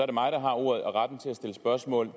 er mig der har ordet og retten til at stille spørgsmål